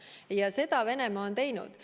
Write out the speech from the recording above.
Ja seda on Venemaa teinud.